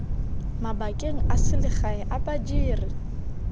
mabakeng a selegae a badiri